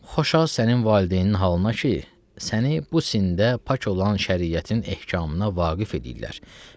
Xoşa sənin valideyninin halına ki, səni bu sində pak olan şəriətin ehkamına vaqif edirlər.